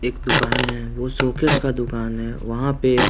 एक दुकान है वो शोकेस का दुकान है वहां पे--